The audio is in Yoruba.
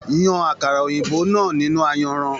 Yàn àkàrà òyìnbó náà nínú ayanran.